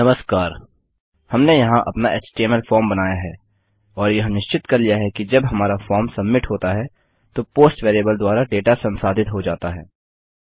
नमस्कार हमने यहाँ अपना एचटीएमएल फॉर्म बनाया है और यह निश्चित कर लिया है कि जब हमारा फॉर्म सबमिट होता है तो पोस्ट वेरिएबल द्वारा डेटा संसाधित हो जाता है